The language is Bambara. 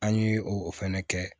An ye o fɛnɛ kɛ